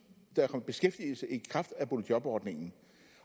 i beskæftigelse i kraft af boligjobordningen